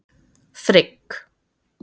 Frigg